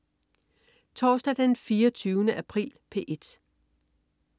Torsdag den 24. april - P1: